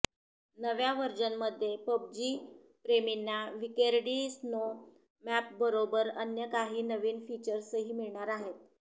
नव्या व्हर्जनमध्ये पबजी प्रेमींना विकेंडी स्नो मॅपबरोबरच अन्य काही नवीन फीचर्सही मिळणार आहेत